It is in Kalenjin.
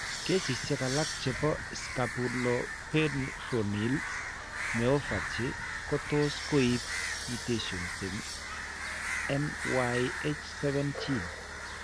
Kesisiek alak che po scapuloperoneal myopathy ko tos'koibu mutations eng' MYH7 gene.